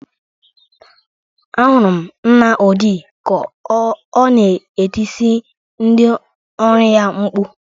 Ahụrụ m nna Odị ka ọ na-etisi ndị ọrụ ya mkpu.